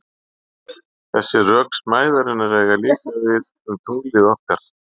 Þessi rök smæðarinnar eiga líka við um tunglið okkar.